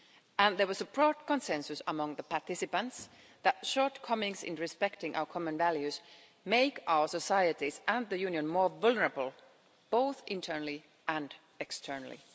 And there was a broad consensus among the participants that shortcomings in respecting our common values make our societies and the Union more vulnerable, both internally and externally.